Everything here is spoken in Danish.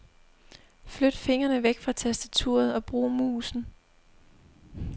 Flyt fingrene væk fra tastaturet og brug musen.